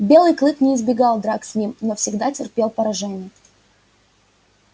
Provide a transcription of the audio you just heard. белый клык не избегал драк с ним но всегда терпел поражение